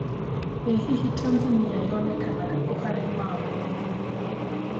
ĩ hihi Tanzania yonekanga kũ harĩ mabũ